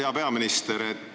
Hea peaminister!